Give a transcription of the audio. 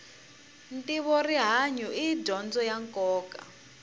ntivo rihanyu i dyondzo ya nkoka